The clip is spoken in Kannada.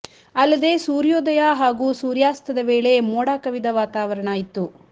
ಅಲ್ಲದೇ ಸೂರ್ಯೋದಯ ಹಾಗೂ ಸೂರ್ಯಾಸ್ತದ ವೇಳೆ ಮೋಡ ಕವಿದ ವಾತಾವರಣ ಇತ್ತು